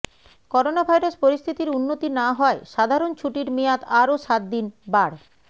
coronavirus পরিস্থিতির উন্নতি না হওয়ায় সাধারণ ছুটির মেয়াদ আরও সাত দিন বাড়